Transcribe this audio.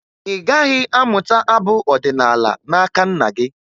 Ị gaghị amụta abụ ọdịnaala n'aka nna gị